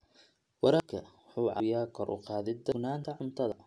Waraabka waxa uu caawiyaa kor u qaadida sugnaanta cuntada.